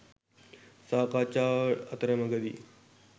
සාකච්ඡාව අතරමඟදී